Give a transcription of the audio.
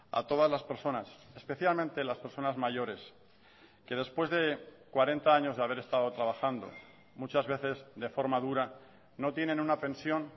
a todas las personas especialmente las personas mayores que después de cuarenta años de haber estado trabajando muchas veces de forma dura no tienen una pensión